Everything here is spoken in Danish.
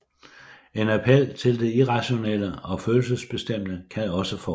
En appel til det irrationelle og følelsesbestemte kan også forekomme